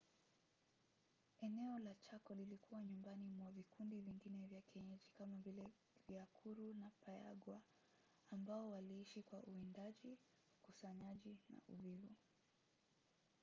eneo la chako lilikuwa nyumbani mwa vikundi vingine vya kienyeji kama vile guaycurú na payaguá ambao waliishi kwa uwindaji ukusanyaji na uvuvi